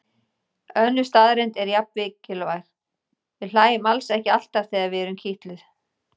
Önnur staðreynd er jafn mikilvæg: Við hlæjum alls ekki alltaf þegar við erum kitluð.